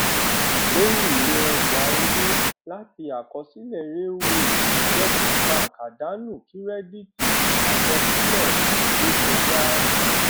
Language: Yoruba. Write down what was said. lórí ìwé ọjà owó láti àkọsílẹ railway debit bank àdánù kírẹdíìtì àkọsílẹ ìrékọjá